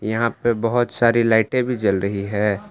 यहां पे बहोत सारी लाइटे भी जल रही है।